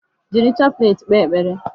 Jiri chaplet kpee ekpere.